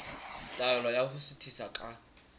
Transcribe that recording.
taelo ya ho suthisa ka